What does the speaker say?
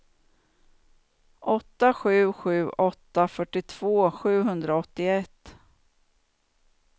åtta sju sju åtta fyrtiotvå sjuhundraåttioett